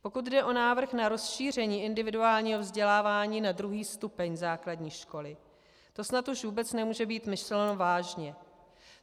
Pokud jde o návrh na rozšíření individuálního vzdělávání na druhý stupeň základní školy, to snad už vůbec nemůže být myšleno vážně.